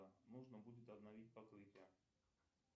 нужно будет обновить покрытие